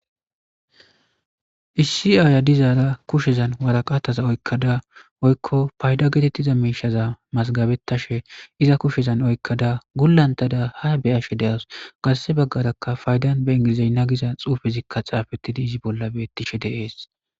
issi aaya dizaara kushezan waraqataza oykkada oykko payda getettiza miishaza masgabettashe iza kushezan oykkada gullantada ha be ashe deas garse baggarakka faydan be ingilizey nagiza xuufezikka xaafettidi izi bolla beettishe deees